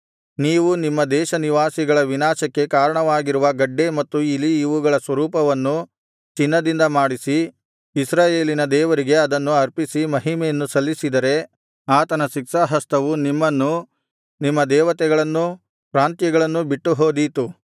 ನೀವು ನಿಮ್ಮ ದೇಶನಿವಾಸಿಗಳ ವಿನಾಶಕ್ಕೆ ಕಾರಣವಾಗಿರುವ ಗಡ್ಡೆ ಮತ್ತು ಇಲಿ ಇವುಗಳ ಸ್ವರೂಪಗಳನ್ನು ಚಿನ್ನದಿಂದ ಮಾಡಿಸಿ ಇಸ್ರಾಯೇಲಿನ ದೇವರಿಗೆ ಅದನ್ನು ಅರ್ಪಿಸಿ ಮಹಿಮೆಯನ್ನು ಸಲ್ಲಿಸಿದರೆ ಆತನ ಶಿಕ್ಷಾಹಸ್ತವು ನಿಮ್ಮನ್ನೂ ನಿಮ್ಮ ದೇವತೆಗಳನ್ನೂ ಪ್ರಾಂತ್ಯಗಳನ್ನೂ ಬಿಟ್ಟುಹೋದೀತು